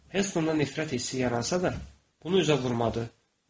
Hestona nifrət hissi yaransa da, bunu üzə vurmadı.